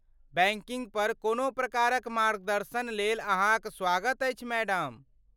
Banking पर कोनो प्रकारक मार्गदर्शनलेल अहाँक स्वागत अछि, मैडम।